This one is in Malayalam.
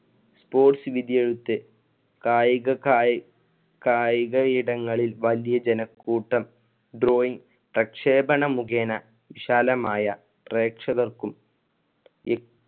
sports വിദ്യോഗത്തിൽ കായിക കായി~ കായിക ഇടങ്ങളിൽ വലിയ ജനക്കൂട്ടം പ്രക്ഷേപണ മുഖേന വിശാലമായ പ്രേക്ഷകർക്കും ഇ